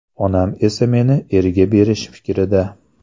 Onam esa meni erga berish fikrida.